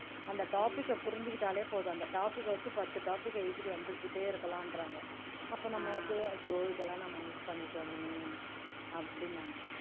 அந்த topic அ புரிஞ்சுக்கிட்டாலே போதும் அந்த topic அ வச்சு பத்து topic அ எழுதிட்டு வந்துகிட்டே இருக்கலாம்ன்றாங்க அப்ப நமக்கு அச்சோ இதெல்லாம் நம்ம miss பண்ணிட்டோமே அப்படின்னாங்க